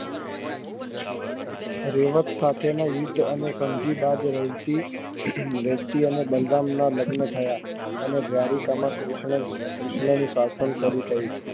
રેવત સાથે ના યુદ્ધ અને સમજી બાદ રેકજી રેકજી અને બલરામ ના લગન થયા અને દ્વારિકા માં કૃષ્ણ કૃષ્ણ નું શાસન શરૂ થયું